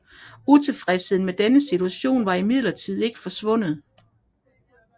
Utilfredsheden med denne situation var imidlertid ikke forsvundet